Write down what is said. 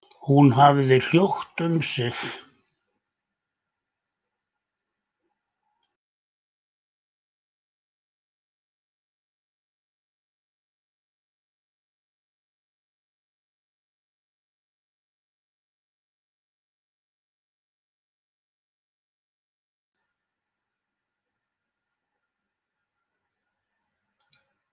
Hún hafði hljótt um sig.